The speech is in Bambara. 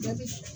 Baasi tɛ